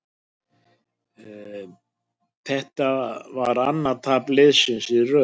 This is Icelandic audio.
Þetta var annað tap liðsins í röð.